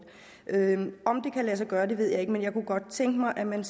om det kan lade sig gøre ved jeg ikke men jeg kunne godt tænke mig at man